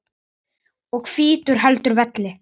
og hvítur heldur velli.